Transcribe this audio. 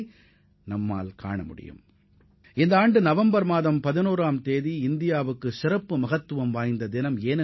இந்தியாவைப் பொறுத்தவரை இந்த ஆண்டு நவம்பர் 11 ஆம் தேதி சிறப்பு வாய்ந்ததாகும்